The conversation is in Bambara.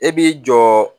E b'i jɔ